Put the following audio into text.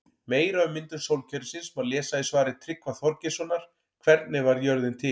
Meira um myndun sólkerfisins má lesa í svari Tryggva Þorgeirssonar Hvernig varð jörðin til?